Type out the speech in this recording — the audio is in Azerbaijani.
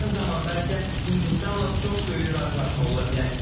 Yaxın zamanda isə Hindistanla çox böyük razılaşma ola bilər.